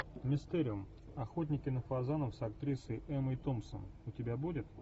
мистериум охотники на фазанов с актрисой эммой томпсон у тебя будет